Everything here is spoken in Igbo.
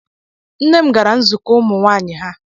Nne m gara nzukọ ụmụ nwaanyị ha.